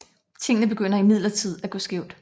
Tingene begynder imidlertid at gå skævt